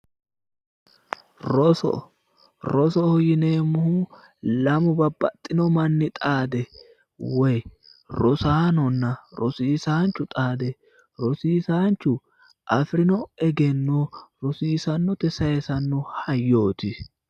roso rosoho yineemmohu lamu babbaxxitino manni woyi rosaanonna rosiisaano xaadde rosiisaanchu afirino egenno rosiisaanote sayisanno hayyooti.